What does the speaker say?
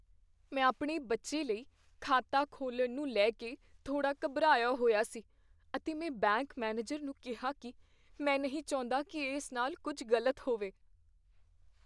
ਮੈਂ ਆਪਣੇ ਬੱਚੇ ਲਈ ਖਾਤਾ ਖੋਲ੍ਹਣ ਨੂੰ ਲੈ ਕੇ ਥੋੜਾ ਘਬਰਾਇਆ ਹੋਇਆ ਸੀ ਅਤੇ ਮੈਂ ਬੈਂਕ ਮੈਨੇਜਰ ਨੂੰ ਕਿਹਾ ਕੀ ਮੈਂ ਨਹੀਂ ਚਾਹੁੰਦਾ ਕੀ ਇਸ ਨਾਲ ਕੁੱਝ ਗਲਤ ਹੋਵੇ।